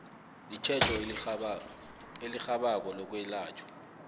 itjhejo elirhabako lokwelatjhwa